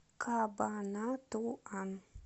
кабанатуан